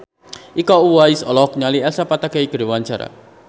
Iko Uwais olohok ningali Elsa Pataky keur diwawancara